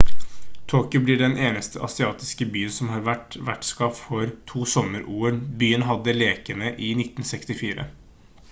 tokyo blir den eneste asiatiske byen som har vært vertskap for to sommer-ol byen hadde lekene i 1964